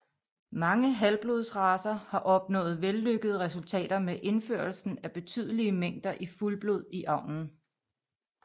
Mange halvblodsracer har opnået vellykkede resultater med indførelsen af betydelige mængder fuldblod i avlen